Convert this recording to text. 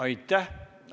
Aitäh!